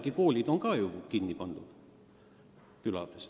Ka koolid on likvideeritud.